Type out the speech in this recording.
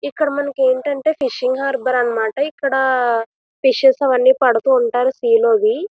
ఇక్కడ మనకి ఏంటంటే ఫిషింగ్ ఆర్బర్ అన్నమాట ఇక్కడ ఫిషస్ అవి పడుతూ ఉంటారన్నమాట సీ లోవి.